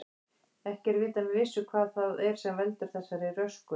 Ekki er vitað með vissu hvað það er sem veldur þessari röskun.